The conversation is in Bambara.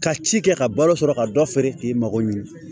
Ka ci kɛ ka balo sɔrɔ ka dɔ feere k'i mago ɲɛ